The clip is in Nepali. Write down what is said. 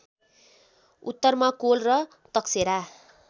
उत्तरमा कोल र तकसेरा